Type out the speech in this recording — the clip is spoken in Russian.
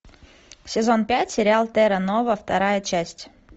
сезон пять сериал терра нова вторая часть